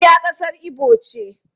Abia kasar Igbo ce.